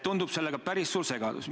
Tundub päris suur segadus olevat.